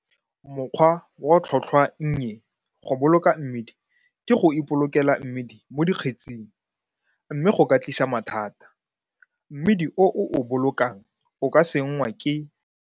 Mokgwa wa tlhotlhwannye go boloka mmidi ke go ipolokela mmidi mo dikgetsing, mme go ka tlisa mathata. Mmidi o o o bolokang o ka sengwa ke.